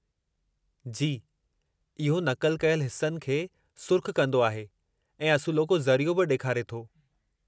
जी, इहो नक़ल कयलु हिस्सनि खे सुर्ख़ कंदो आहे ऐं असुलोको ज़रियो बि ॾेखारे थो।